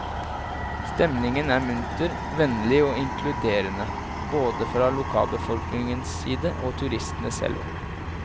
Stemningen er munter, vennlig og inkluderende, både fra lokalbefolkningens side og turistene selv.